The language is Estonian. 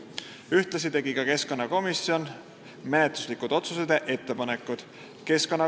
Keskkonnakomisjon tegi 8. märtsi istungil menetluslikud otsused ja ettepanekud.